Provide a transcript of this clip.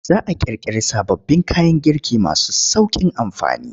Za a ƙirƙiri sababbin kayan girki masu sauƙin amfani.